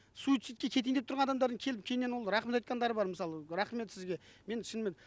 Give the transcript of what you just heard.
суицидке кетейін деп тұрған адамдардың келіп кейіннен ол рахмет айтқандары бар мысалы рахмет сізге мен шынымен